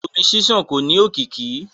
Omi ṣiṣan ko ni òkìkí.